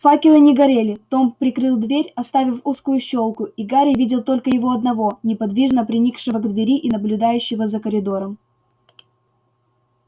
факелы не горели том прикрыл дверь оставив узкую щёлку и гарри видел только его одного неподвижно приникшего к двери и наблюдающего за коридором